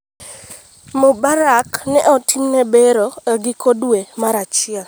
Mubarak ne otimne bero giko dwe mar achiel.